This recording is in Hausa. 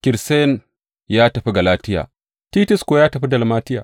Kirssens ya tafi Galatiya, Titus kuwa ya tafi Dalmatiya.